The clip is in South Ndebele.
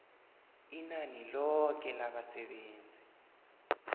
inani loke labasebenzi